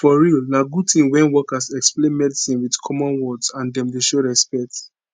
for real na good tin wen workers explain medicine with common words and dem dey show respect